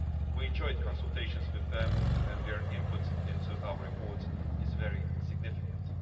We enjoyed consultations with them and their input into our report is very significant.